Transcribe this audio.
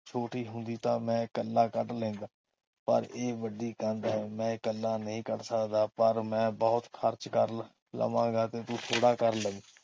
ਛੋਟੀ ਹੁੰਦੀ ਤਾ ਮੈਂ ਇਕੱਲਾ ਕੱਢ ਲੈਂਦਾ ਪਰ ਇਹ ਵੱਡੀ ਕੰਧ ਹੈ। ਮੈਂ ਇਹ ਇਕੱਲਾ ਨਹੀਂ ਕੱਢ ਸਕਦਾ ਪਰ ਮੈਂ ਬਹੁਤ ਖਰਚ ਕਰ ਲਵਾਂਗਾ ਤੇ ਤੂੰ ਥੋੜ੍ਹਾ ਕਰ ਲਈ।